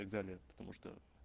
и так далее потому что